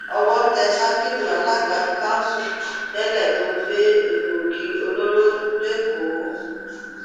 owó tẹ sakiru alága kanṣu tẹlẹ tó gbé egbòogi olóró lẹkọọ